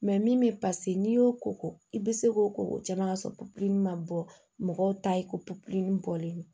min bɛ n'i y'o koko i bɛ se k'o ko caman ka sɔrɔ pɔpili ma bɔ mɔgɔw ta ye ko popili bɔlen don